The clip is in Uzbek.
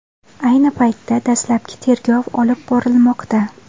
Ayni paytda dastlabki tergov olib borilmoqda.